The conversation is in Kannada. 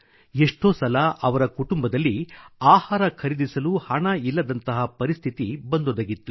ಎಷ್ಟೋ ಸಲ ಅವರ ಕುಟುಂಬದಲ್ಲಿ ಆಹಾರ ಖರೀದಿಸಲು ಹಣ ಇಲ್ಲದಂತಹ ಪರಿಸ್ಥಿತಿ ಬಂದೊದಗಿತ್ತು